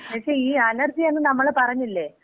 പക്ഷേ, ഈ അലർജി എന്ന് നമ്മള് പറഞ്ഞില്ലേ?